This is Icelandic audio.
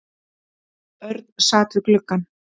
Örn sat við gluggann.